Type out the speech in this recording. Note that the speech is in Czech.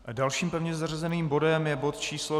Dalším pevně zařazeným bodem je bod číslo